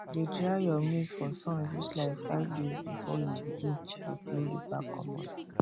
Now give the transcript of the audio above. dey dry your maize for sun reach like five days before you begin dey peel the back comot